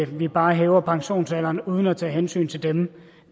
vi bare hæver pensionsalderen uden at tage hensyn til dem